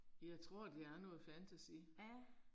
Jeg tror det er noget fantasy